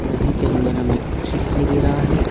नदी के अंदर हमें एक पक्षी दिखाई दे रहा है।